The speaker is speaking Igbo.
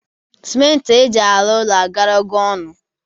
Sịmenti eji arụ ụlọ agarago ọnụ